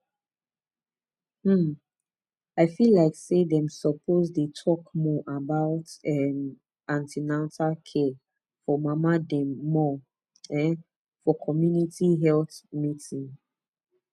um i feel like say dem suppose dey talk more about um an ten atal care for mama dem more um for community health meeting